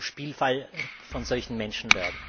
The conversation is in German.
Sie darf nicht zum Spielball von solchen Menschen werden.